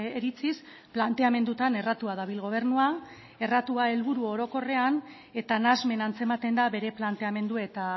iritziz planteamendutan erratua dabil gobernua erratua helburu orokorrean eta nahasmen antzematen da bere planteamendu eta